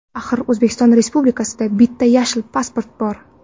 Axir O‘zbekiston Respublikasida bitta yashil pasport bor.